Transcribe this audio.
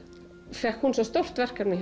fékk svo stórt verkefni